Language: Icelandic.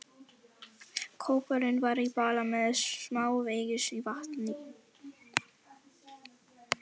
Kópurinn var í bala með smávegis vatni í.